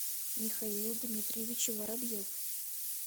михаил дмитриевич воробьев